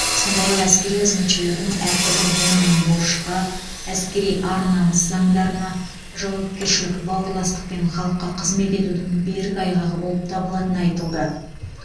сондай ақ әскери қызметшілердің әртүрлі буынын борышқа әскери ар намыс заңдарына жауапкершілік бауырластық пен халыққа қызмет етудің берік айғағы болып табылатыны айтылды